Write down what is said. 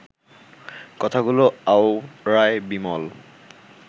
কথাগুলো আওড়ায় বিমল